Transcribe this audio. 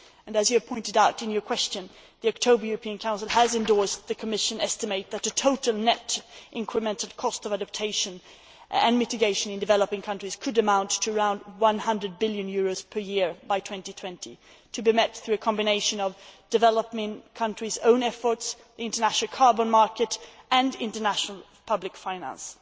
As you have pointed out in your question, the October European Council has endorsed the Commission estimate that a total net incremented cost of adaptation and mitigation in developing countries could amount to around EUR 100 billion per year by 2020, to be met through a combination of developing countries' own efforts, the international carbon market and international public finance